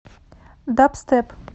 дабстеп